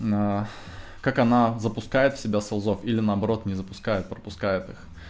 на как она запускает себя с азов или наоборот не запускает пропускает их